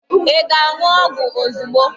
Ị ga-aṅụ ọgwụ ozugbo.